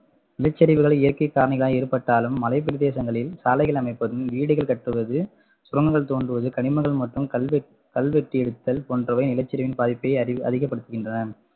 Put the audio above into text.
நிலச்சரிவுகள் இயற்கை காரணிகளால் ஏற்பட்டாலும் மலைப்பிரதேசங்களில் சாலைகள் அமைப்பதும், வீடுகள் கட்டுவது, சுரங்கங்கள் தோண்டுவது, கனிமங்கள் மற்றும் கல்வெ~ கல்வெட்டி எடுத்தல் போன்றவை நிலச்சரிவின் பாதிப்பை அதிக~ அதிகப்படுத்துகின்றன